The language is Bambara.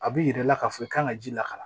A b'i yira i la k'a fɔ i kan ka ji la ka